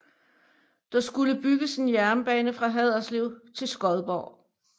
Der skulle bygges en jernbane fra Haderslev til Skodborg